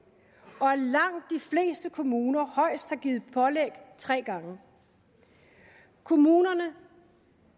kommuner højst har givet pålæg tre gange kommunerne